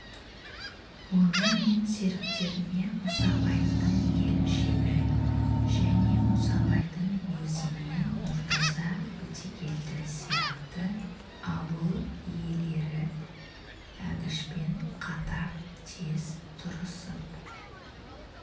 оны мен серіктеріне мұсабайдың келіншегі және мұсабайдың өзі мен нұртаза өтегелді сияқты ауыл иелері әбішпен қатар тез тұрысып